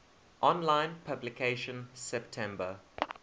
online publication september